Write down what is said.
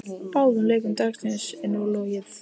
Báðum leikjum dagsins er nú lokið.